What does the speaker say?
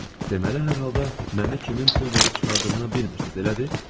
Deməli, hər halda məni kimin pul verib çıxardığını bilmirsiz, elədir?